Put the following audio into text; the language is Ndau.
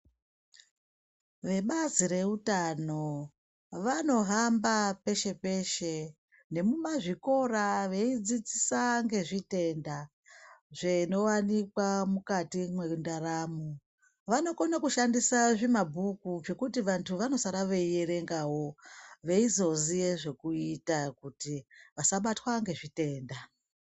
Vebazi reutano vanohamba peshe peshe nemumazvikora veidzidzisa ngezvitenda zvinowanikwa mukati mwendaramo. Vanokone kushandisa zvimabhuku zvekuti vanthu vanosara veierengawo, veizoziye zvekuita kuti vasabatwa ngezvitenda.